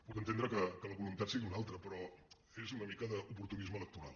puc entendre que la voluntat sigui una altra però és una mica d’oportunisme electoral